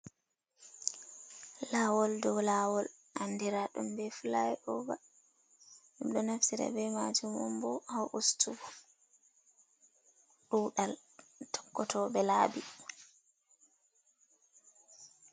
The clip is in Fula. Lawol dow lawol andira ɗum be fulai over, minɗo naftira be majum umbo ha ustugo ɗuɗal tokkoto ɓe laabi.